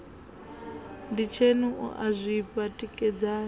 nditsheni u a zwifha tikedzani